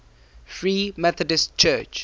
free methodist church